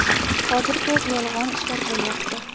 Hozir ko‘p yolg‘on ishlar bo‘lyapti.